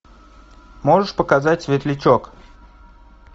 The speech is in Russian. можешь показать светлячок